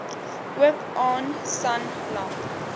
ook aan sanlam